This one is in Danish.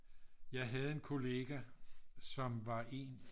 jeg havde en kollega som var en